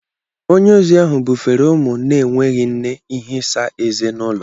Onye ozi ahụ bufere ụmụ na-enweghị nne Ihe Isa eze n'ụlọ